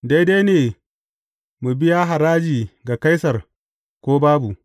Daidai ne mu biya haraji ga Kaisar, ko babu?